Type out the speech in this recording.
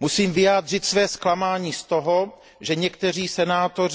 Musím vyjádřit své zklamání z toho, že někteří senátoři